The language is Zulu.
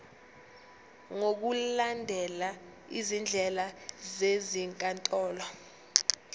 ngokulandela izindlela zezinkantolo